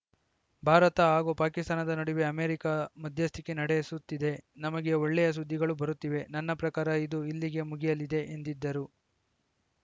ಭಾರತ ಹಾಗೂ ಪಾಕಿಸ್ತಾನದ ನಡುವೆ ಅಮೆರಿಕ ಮಧ್ಯಸ್ಥಿಕೆ ನಡೆಸುತ್ತಿದೆ ನಮಗೆ ಒಳ್ಳೆಯ ಸುದ್ದಿಗಳು ಬರುತ್ತಿವೆ ನನ್ನ ಪ್ರಕಾರ ಇದು ಇಲ್ಲಿಗೇ ಮುಗಿಯಲಿದೆ ಎಂದಿದ್ದರು